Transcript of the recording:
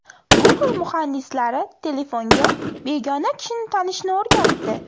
Google muhandislari telefonga begona kishini tanishni o‘rgatdi.